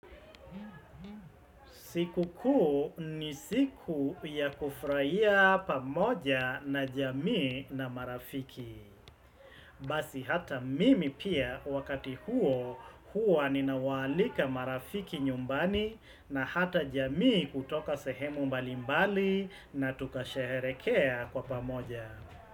Sikukuu ni siku ya kufurahia pamoja na jamii na marafiki Basi hata mimi pia wakati huo huwa ninawaalika marafiki nyumbani na hata jamii kutoka sehemu mbalimbali na tukasheherekea kwa pamoja.